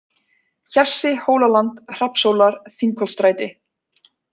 Hjassi, Hólaland, Hrafnshólar, Þingholtsstræti